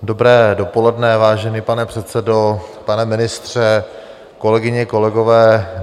Dobré dopoledne, vážený pane předsedo, pane ministře, kolegyně, kolegové.